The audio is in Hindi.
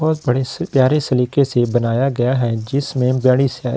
बोहुत बड़े से प्यारे सलीके से बनाया गया है जिसमें --